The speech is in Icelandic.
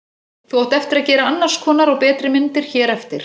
Þú átt eftir að gera annars konar og betri myndir hér eftir.